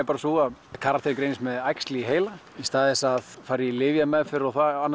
sú að karakterinn greinist með æxli í heila í stað þess að fara í lyfjameðferð